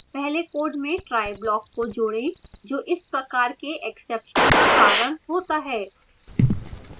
पहले code में try block को जोड़ें जो इस प्रकार के exception का कारण होता है